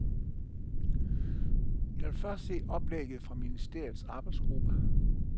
Jeg vil først se oplægget fra ministeriets arbejdsgruppe.